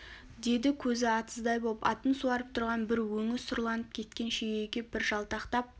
деді көзі атыздай боп атын суарып тұрған бір өңі сұрланып кеткен шегеге бір жалтақтап